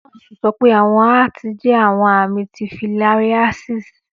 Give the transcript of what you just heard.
Nọọsi sọ pe awọn aati jẹ awọn ami ti filariasis.